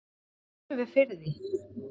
Auðvitað finnum við fyrir því.